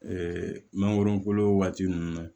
mangoro kolo waati ninnu